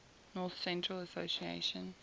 north central association